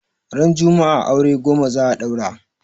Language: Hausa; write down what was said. Ran juma'a aure goma za a daura